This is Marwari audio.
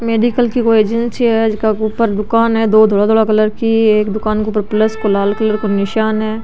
मेडिकल की कोई एजेंसी है जीका के ऊपर कोई दुकान है दो धोला धोला कलर की एक दुकान को ऊपर प्लस को लाल कलर को निशान है।